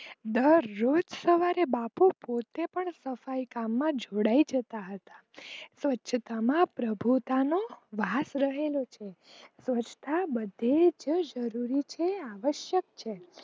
દરરોજ સવારે બાપુ પોતે પણ સફાઈ કામ માં જોડાઈ જતા હતા સ્વછતામાં પ્રભુતાનો વાસ રહેલો છે સ્વચ્છતા બધેજ જરૂરી છે આવાસક છે.